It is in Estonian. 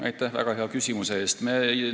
Aitäh väga hea küsimuse eest!